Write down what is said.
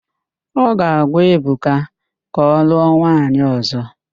Ọ ga-agwa Ebuka ka ọlụọ nwaanyị ọ̀zọ́.